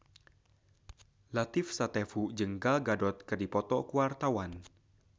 Latief Sitepu jeung Gal Gadot keur dipoto ku wartawan